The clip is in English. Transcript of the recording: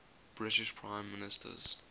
british prime ministers